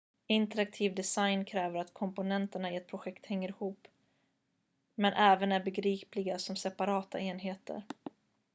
interaktiv design kräver att komponenterna i ett projekt hänger ihop men även är begripliga som separata enheter